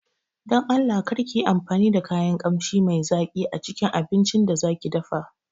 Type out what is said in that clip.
Don Allah karki yi amfani da kayan Ƙamshi mai zaki acikin abincin da zaƙi dafa